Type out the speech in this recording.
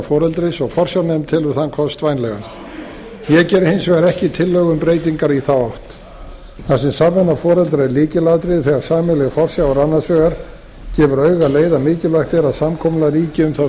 foreldris og forsjárnefnd telur þann kost vænlegan ég geri hins vegar ekki tillögur um breytingar í þá átt þar sem samvinna foreldra er lykilatriði þegar sameiginleg forsjá er annars vegar gefur auga leið að mikilvægt er að samkomulag ríki um þá